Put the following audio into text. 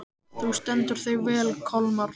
Þú stendur þig vel, Kolmar!